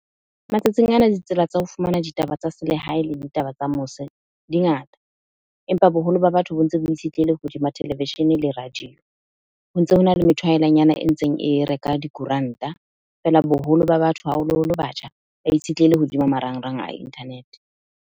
Matsatsing ana ditsela tsa ho fumana ditaba tsa selehae le ditaba tsa mose di ngata. Empa boholo ba batho bo ntse bo itshetleile hodima televishene le radio. Ho ntse hona le methwaelanyana e ntseng e reka dikoranta, feela boholo ba batho haholoholo batjha, ba itshetleile hodima marangrang a internet-e.